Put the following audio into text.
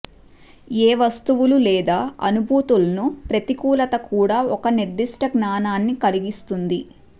ఏ వస్తువులు లేదా అనుభూతులను ప్రతికూలత కూడా ఒక నిర్దిష్ట జ్ఞానాన్ని కలిగిస్తుంది